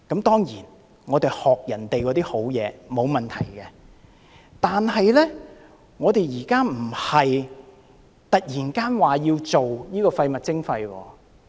當然，我們學習別人的好東西是沒有問題的，但我們現在並非突然要推行垃圾徵費。